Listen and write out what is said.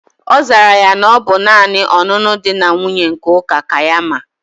Ozara ya na obu nani onunu di na nwunye nke uka ka ya mma